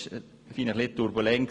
Das war ziemlich turbulent.